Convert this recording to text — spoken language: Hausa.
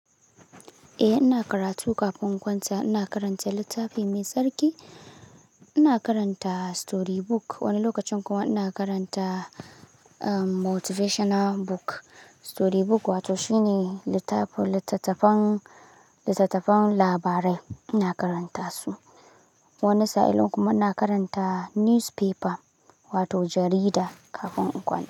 Eh ina karatu kafin kwanta. Ina karanta littafi mai tsarki, ina karanta story book wani lokacin kuma ina karanta motivational book. Story book wato shine littattafan, littattafan labarai ina karanta su. Wani sa'in kuma ina karanta newspaper wato jarida kafin in kwanta.